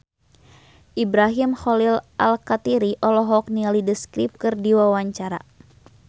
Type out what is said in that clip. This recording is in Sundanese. Ibrahim Khalil Alkatiri olohok ningali The Script keur diwawancara